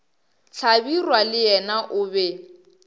hlabirwa le yena o be